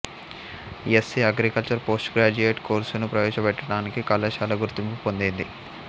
SC agricultural post graduate కోర్సును ప్రవేశపెట్టటానికి కళాశాల గుర్తింపు పొందింది